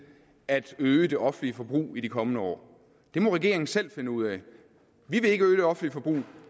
at øge det offentlige forbrug i de kommende år det må regeringen selv finde ud af vi vil ikke øge det offentlige forbrug